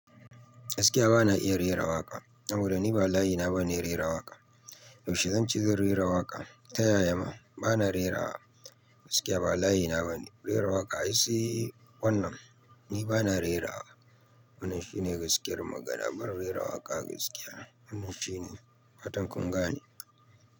Gaskiya bana iya rera waƙa. Saboda niba layi na babe rera waƙa. Yaushe zan ce zan rera waƙa? Ta yaya ma bana rera waƙa? Gaskiya ba layi na bane rera waƙa. Sai wannan ni bana rera waƙa. Wannan shine gaskiyar magana ban rera waƙa gaskiya. Wannan shine fatan kunga ne.